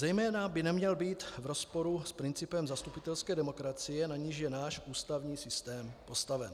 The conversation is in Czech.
Zejména by neměl být v rozporu s principem zastupitelské demokracie, na níž je náš ústavní systém postaven.